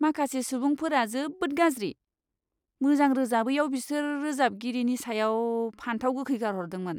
माखासे सुबुंफोरा जोबोद गाज्रि! मोजां रोजाबैआव बिसोर रोजाबगिरिनि सायाव फानथाव गोखै गारहरदोंमोन!